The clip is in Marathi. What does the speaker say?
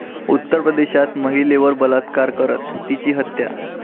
उत्तर प्रदेशात महिलेवर बलात्कार करत तिची हत्या